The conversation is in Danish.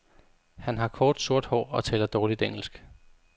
Han har kort, sort hår og taler dårligt engelsk.